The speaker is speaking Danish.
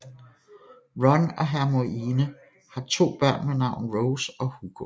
Ron og Hermione har to børn ved navn Rose og Hugo